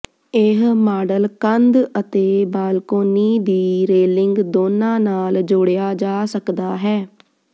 ਇਹ ਮਾਡਲ ਕੰਧ ਅਤੇ ਬਾਲਕੋਨੀ ਦੀ ਰੇਲਿੰਗ ਦੋਨਾਂ ਨਾਲ ਜੋੜਿਆ ਜਾ ਸਕਦਾ ਹੈ